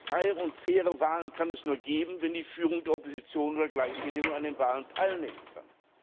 Freie und faire Wahlen kann es nur geben, wenn die Führung der Opposition unter gleichen Bedingungen an den Wahlen teilnehmen kann.